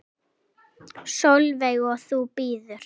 Sólveig: Og þú bíður?